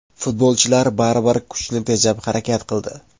Futbolchilar baribir kuchni tejab harakat qildi.